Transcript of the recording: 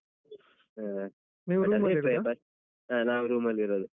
ಹ. ಹ ನಾವ್ room ಅಲ್ ಇರೋದು.